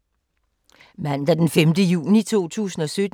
Mandag d. 5. juni 2017